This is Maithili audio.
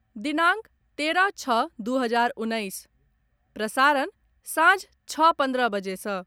दिनांक तेरह छओ दू हजार उन्नैस, प्रसारण सांझ छओ पन्द्रह बजे सँ